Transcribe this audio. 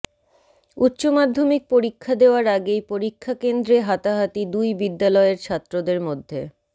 উচ্চমাধ্যমিক পরীক্ষা দেওয়ার আগেই পরীক্ষাকেন্দ্রে হাতাহাতি দুই বিদ্যালয়ের ছাত্রদের মধ্যে